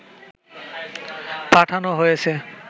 পাঠানো হয়েছে